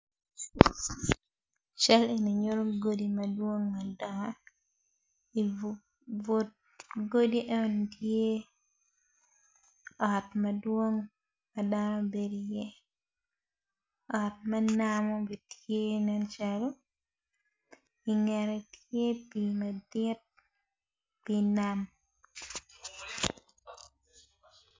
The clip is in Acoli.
Cal eni nyuto godi madwong madongo ifu ibut kodi eno ni tye ot madwong ma dano bedo iye ot me namo be tye nen calo ingette tye pii madit pii nam